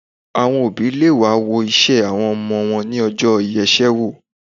Àwọn òbí le wá wo ìṣe àwọn ọmọ wọn ní ọjọ́ ìyeṣẹ́wò.